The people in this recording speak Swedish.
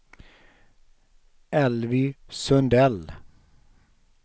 Elvy Sundell